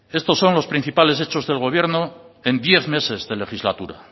estos son los principales hechos del gobierno en diez meses de legislatura